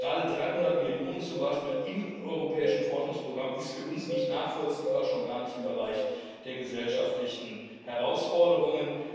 Gerade 300 Millionen zum Beispiel im europäischen Forschungsprogramm ist für uns nicht nachvollziehbar, schon gar nicht im Bereich der gesellschaftlichen Herausforderungen.